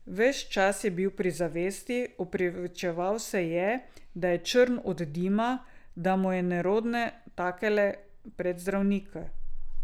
Ves čas je bil pri zavesti, opravičeval se je, da je črn od dima, da mu je nerodno takle pred zdravnika.